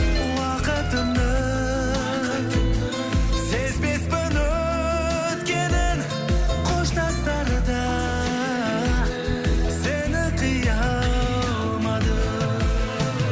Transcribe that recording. уақытымның сезбеспін өткенін қоштасарда сені қия алмадым